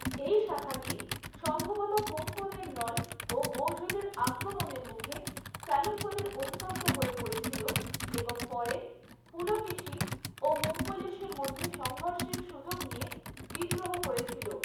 এই শাখাটি সম্ভবত কোঙ্কণের নল ও মৌর্যদের আক্রমণের মুখে চালুক্যদের অধীনস্থ হয়ে পড়েছিল এবং পরে পুলকেশী ও মঙ্গলেশের মধ্যে সংঘর্ষের সুযোগ নিয়ে বিদ্রোহ করেছিল।